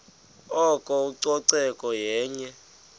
oko ucoceko yenye